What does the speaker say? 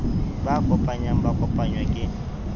ba kopanyang ba kopangwa ke